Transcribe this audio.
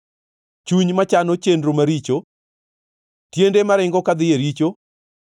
chuny machano chenro maricho, tiende maringo kadhi e richo,